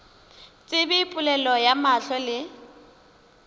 tsebe polelo ya mahlo le